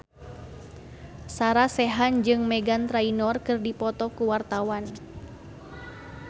Sarah Sechan jeung Meghan Trainor keur dipoto ku wartawan